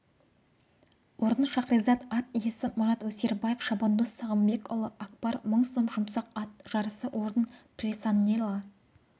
орын шахризад ат иесі мұрат өсербаев шабандоз сағымбекұлы акбар мың сом жұмсақ ат жарысы орын присаннела